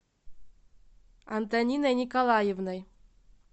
антониной николаевной